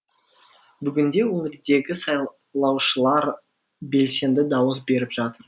бүгінде өңірдегі сайлаушылар белсенді дауыс беріп жатыр